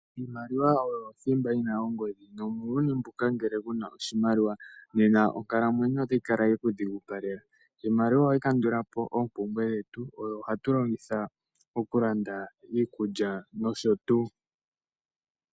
Iimaliwa oyo othimba yi na ongodhi, nomuuyuni mbuka ngele kuna oshimaliwa onkalamwenyo otayi kala yekudhigupalela. Iimaliwa ohayi kandulapo oompumbwe dhetu, oyo hatu longitha okulanda iikulya nosho tuu.